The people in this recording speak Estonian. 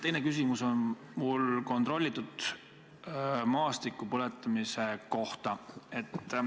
Teine küsimus on mul kontrollitud maastikupõletamise kohta.